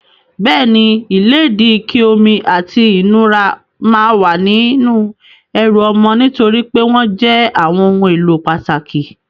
Bẹ́ẹ̀ni, ìlédìí, ike omi, àti ìnura máa wà nínú ẹrù ọmọ nitori pe wọn jẹ́ àwọn ohun èlò pàtàkì.